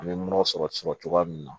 An bɛ mɔrɔ sɔrɔ sɔrɔ cogoya min na